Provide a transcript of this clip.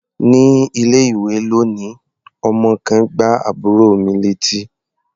Ní ilé-ìwé lónìí, ọmọ kan gbá àbúrò mi létí.